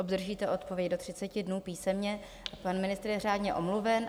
Obdržíte odpověď do 30 dnů písemně, pan ministr je řádně omluven.